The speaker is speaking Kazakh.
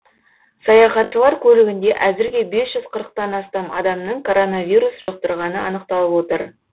саяхатшылар көлігінде әзірге бес жүз қырықтан астам адамның коронавирус жұқтырғаны анықталып отыр